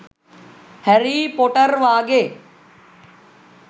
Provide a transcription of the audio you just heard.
හැරී පොටර් වාගේ